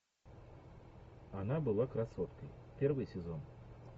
она была красоткой первый сезон